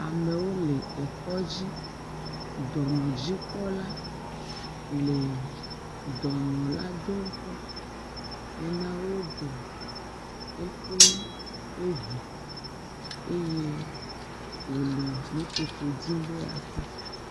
Amewo le ekɔ dzi. Dɔnɔdzikpɔla le dɔnɔ la dom kpɔ hena woɖe eƒe ŋu eye wole nu tsotso dzim be yeakpɔ.